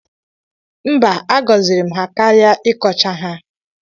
Mba a gọziri m ha karịa ịkọcha ha